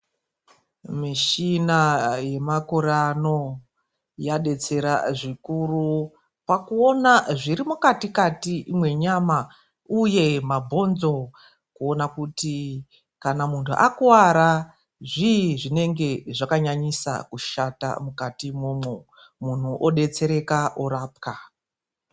Mishina yemakore ano yadetsera zvikuru pakuona zviri mukati menyama uye mabhonzo kuona kuti kana munthu akuwara zvii zvinenge zvakanyanyisa kushata mukati imwomwo mundu odetsereka orapwa .